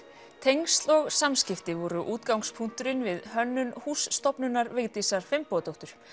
tengsl og samskipti voru útgangspunkturinn við hönnun húss stofnunar Vigdísar Finnbogadóttur